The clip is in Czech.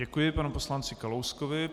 Děkuji panu poslanci Kalouskovi.